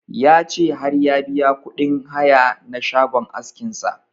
Ya ce har ya biya kuɗin haya na shagon askin sa